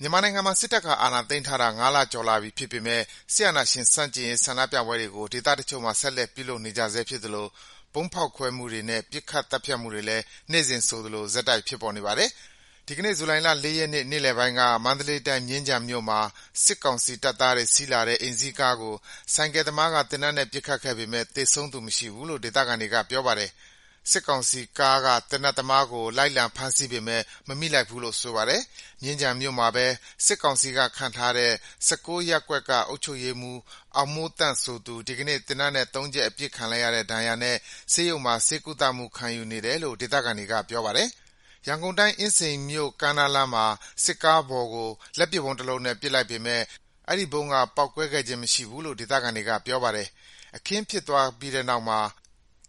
မြန်မာနိုင်ငံမှာ စစ်တပ်က အာဏာသိမ်းထားတာ ၅ လကျော်လာပြီဖြစ်ပေမယ့် အာဏာရှင်ဆန့်ကျင်ရေး ဆန္ဒပြပွဲတွေကို ဒေသတချို့မှာ ဆက်လက် ပြုလုပ်နေကြဆဲ ဖြစ်သလို ဗုံးဖောက်ခွဲမှုတွေနဲ့ ပစ်ခတ် သတ်ဖြတ်မှုတွေလည်း နေ့စဉ်ဆိုသလို ဆက်တိုက် ဖြစ်ပေါ်နေပါတယ်။ ဒီကနေ့ ဇူလိုင်လ ၄ ရက်နေ့ နေ့လယ်ပိုင်းက မန္တလေးတိုင်း၊ မြင်းခြံမြို့မှာ စစ်ကောင်စီတပ်သားတွေ စီးလာတဲ့ အိမ်စီးကားကို ဆိုင်ကယ်သမားက သေနတ်နဲ့ ပစ်ခတ်ခဲ့ပေမယ့် သေဆုံးသူမရှိဘူးလို့ ဒေသခံတွေက ပြောပါတယ်။ စစ်ကောင်စီကားက သေနတ်သမားကို လိုက်လံဖမ်းဆီးပေမယ့် မမိလိုက်ဘူးလို့ ဆိုပါတယ်။ မြင်းခြံမြို့မှာပဲ စစ်ကောင်စီက ခန့်ထားတဲ့ ၁၉ ရပ်ကွက် အုပ်ချုပ်ရေးမှူး အောင်မိုးသန့်ဆိုသူ ဒီကနေ့ သေနတ်နဲ့ ၃ ချက် အပစ်ခံလိုက်ရတဲ့ ဒဏ်ရာတွေနဲ့ ဆေးရုံမှာ ဆေးကုသမှု ခံယူနေတယ်လို့ ဒေသခံတွေက ပြောပါတယ်။ ရန်ကုန်တိုင်း၊ အင်းစိန်မြို့ ကမ်းနားလမ်းမှာ စစ်ကားပေါ်ကို လက်ပစ်ဗုံးတလုံးနဲ့ ပစ်လိုက်ပေမယ့် အဲဒီဗုံးက ပေါက်ကွဲခဲ့ခြင်း မရှိဘူးလို့ ဒေသခံတွေက ပြောပါတယ်။ အခင်းဖြစ်ပွားပြီးတဲ့နောက်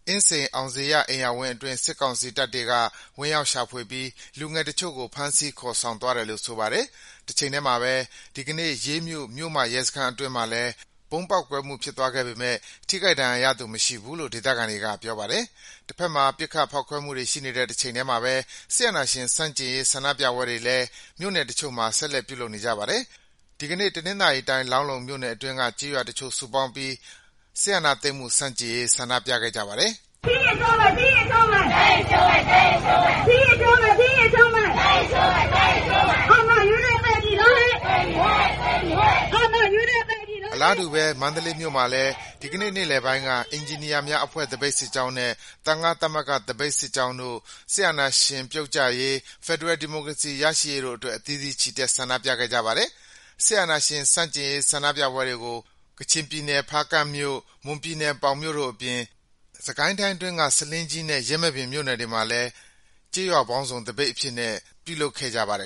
အင်းစိန် အောင်ဇေယျအိမ်ယာဝင်းအတွင်း စစ်ကောင်စီတပ်ဖွဲ့တွေက ဝင်ရောက်ရှာဖွေပြီး လူငယ်တချို့ကို ဖမ်းဆီး ခေါ်ဆောင်သွားတယ်လို့ ဆိုပါတယ်။ တချိန်တည်းမှာပဲ ဒီကနေ့ ရေးမြို့၊ မြို့မရဲစခန်းအတွင်း ဗုံးပေါက်ကွဲမှု ဖြစ်သွားခဲ့ပေမယ့် ထိခိုက်ဒဏ်ရာရသူ မရှိဘူးလို့ ဒေသခံတွေက ပြောပါတယ်။ တဖက်မှာ ပစ်ခတ် ဖောက်ခွဲမှုတွေ ရှိနေတဲ့ တချိန်တည်းမှာပဲ အာဏာရှင်ဆန့်ကျင်ရေး ဆန္ဒပြပွဲတွေလည်း မြို့နယ်တချို့မှာ ဆက်လက် ပြုလုပ်နေကြပါတယ်။ ဒီကနေ့ တနင်္သာရီတိုင်း၊ လောင်းလုံမြို့နယ်အတွင်းက ကျေးရွာတချို့ စုပေါင်းပြီး စစ်အာဏာသိမ်းမှု ဆန့်ကျင်ရေး ဆန္ဒပြခဲ့ကြပါတယ်။ အလားတူပဲ မန္တလေးမြို့မှာလည်း ဒီကနေ့ နေ့လယ်ပိုင်းက အင်ဂျင်နီယာများအဖွဲ့ သပိတ်စစ်ကြောင်းနဲ့ သံဃသမဂ္ဂ သပိတ်စစ်ကြောင်းတို့ စစ်အာဏာရှင်ပြုတ်ကျရေး၊ ဖက်ဒရယ်ဒီမိုကရေစီ ရရှိရေးတို့အတွက် အသီးသီး ချီတက် ဆန္ဒပြခဲ့ကြပါတယ်။ စစ်အာဏာရှင်ဆန့်ကျင်ရေး ဆန္ဒပြပွဲတွေကို ကချင်ပြည်နယ်၊ ဖားကန့်မြို့၊ မွန်ပြည်နယ် ပေါင်မြို့တို့အပြင် စစ်ကိုင်းတိုင်းအတွင်းက ဆားလင်းကြီးနဲ့ ယင်းမာပင်မြို့နယ်တွေမှာလည်း ကျေးရွာပေါင်းစုံ သပိတ်အဖြစ်နဲ့ ပြုလုပ်ခဲ့ကြပါတယ်